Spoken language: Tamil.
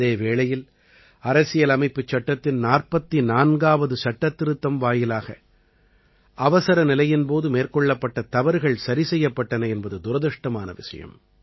அதே வேளையில் அரசியலமைப்புச் சட்டத்தின் 44ஆவது சட்டத்திருத்தம் வாயிலாக அவசரநிலையின் போது மேற்கொள்ளப்பட்ட தவறுகள் சரி செய்யப்பட்டன என்பது துரதிர்ஷ்டமான விஷயம்